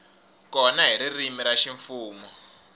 kona hi ririmi ra ximfumo